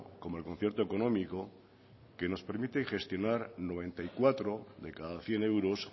como el concierto económico que nos permite gestionar noventa y cuatro de cada cien euros